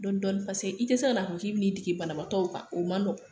Dɔɔdin dɔɔnni paseke i tɛ se k'a na fɔ k'i bɛ ni dege banabaatɔw kan, o man nɔgɔn.